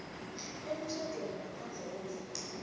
emtjhadweni ngaphandle kwemvumo